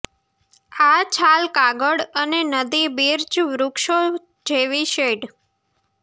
આ છાલ કાગળ અને નદી બિર્ચ વૃક્ષો જેવી શેડ